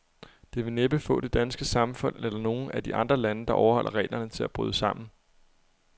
Det vil næppe få det danske samfund, eller nogen af de andre lande, der overholder reglerne, til at bryde sammen.